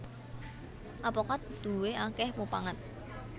Apokat duwé akèh mupangat